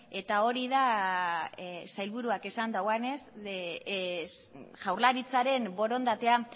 eta hori da sailburuak esan duenez jaurlaritzaren borondatea